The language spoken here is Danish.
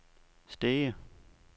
Stege